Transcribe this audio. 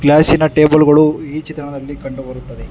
ಅರಿಶಿಣ ಟೇಬಲ್ ಗಳು ಈ ಚಿತ್ರಣದಲ್ಲಿ ಕಂಡು ಬರುತ್ತದೆ.